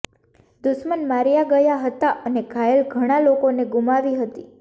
દુશ્મન માર્યા ગયા હતા અને ઘાયલ ઘણા લોકોને ગુમાવી હતી